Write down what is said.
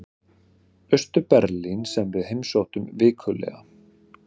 Austur-Berlín sem við heimsóttum vikulega.